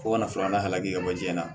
Fo ka na filanan hakɛ bɔ ji la